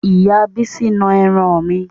Ìyá bísí na ẹran mi